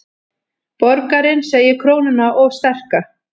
Borgarinn segir krónuna of sterka